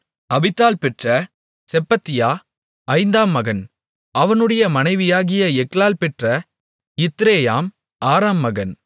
அபித்தாள் பெற்ற செப்பத்தியா ஐந்தாம் மகன் அவனுடைய மனைவியாகிய எக்லாள் பெற்ற இத்ரேயாம் ஆறாம் மகன்